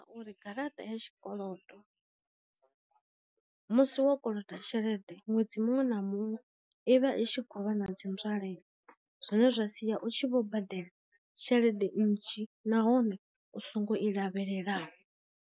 U ri garaṱa ya tshikolodo, musi wo koloda tshelede ṅwedzi muṅwe na muṅwe ivha i tshi khou vha na dzi nzwalelo zwine zwa sia u tshi vho badela tshelede nnzhi nahone u songo i lavhelelaho.